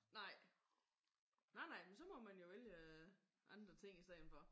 Nej. Nej nej men så må man jo vælge andre ting i stedet for